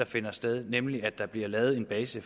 finder sted nemlig at der bliver lavet en base